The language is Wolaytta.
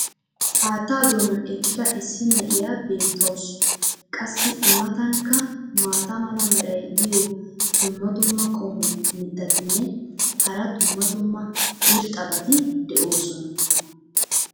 Haatta doonan eqqida issi na'iya beetawusu. qassi i matankka maata mala meray diyo dumma dumma qommo mitattinne hara dumma dumma irxxabati de'oosona.